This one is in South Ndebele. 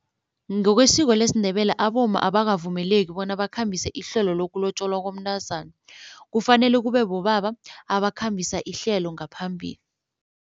Ngokwesiko lesiNdebele abomma abakavumeleki bona bakhambise ihlelo lokulotjolwa komntazana, kufanele kube bobaba abakhambisa ihlelo ngaphambili.